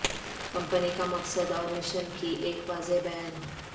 company کا مقصد اور مشن کی ایک واضح بیان